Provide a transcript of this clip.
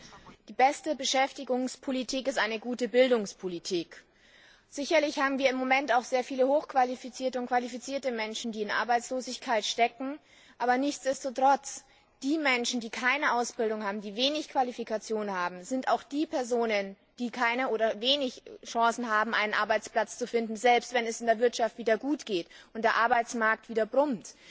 Eine gute Bildungspolitik ist die beste Beschäftigungspolitik. Sicherlich haben wir im Moment auch sehr viele hochqualifizierte und qualifizierte Menschen, die in Arbeitslosigkeit stecken, aber dessen ungeachtet sind die Menschen, die keine Ausbildung haben, die wenige Qualifikationen haben, auch die Personen, die keine oder wenig Chancen haben, einen Arbeitsplatz zu finden, selbst wenn es der Wirtschaft wieder gut geht und der Arbeitsmarkt wieder brummt.